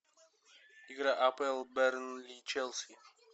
игра апл бернли и челси